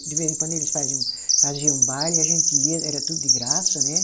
De vez em quando eles faziam, faziam baile e a gente ia, era tudo de graça, né?